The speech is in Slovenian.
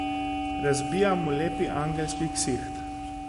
Razbijam mu lepi angelski ksiht.